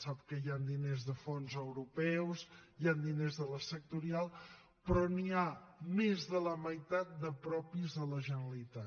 sap que hi han diners de fons europeus hi han diners de la sectorial però n’hi ha més de la meitat de propis de la generalitat